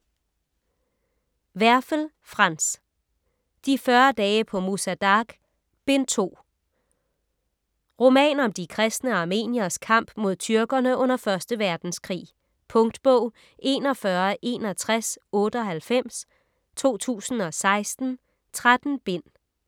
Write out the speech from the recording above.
Werfel, Franz: De 40 dage på Musa Dagh: Bind 2 Roman om de kristne armenieres kamp mod tyrkerne under 1. verdenskrig. . Punktbog 416198 2016. 13 bind.